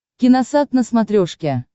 киносат на смотрешке